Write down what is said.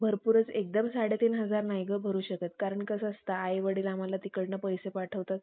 आम्हाला समजेल ह्याप्रकारे ते आम्हाला शिकवत असायचे. आणि त्यांचे शिकवणे बोलणे मला खूप आवडत असायचे.